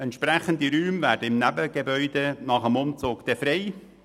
Entsprechende Räume werden im Nebengebäude nach dem Umzug frei.